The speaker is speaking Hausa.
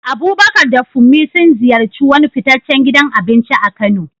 Abubakar da Funmi sun ziyarci wani fitaccen gidan abinci a Kano.